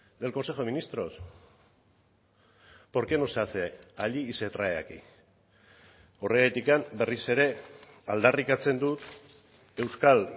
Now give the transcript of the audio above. del consejo de ministros por qué no se hace allí y se trae aquí horregatik berriz ere aldarrikatzen dut euskal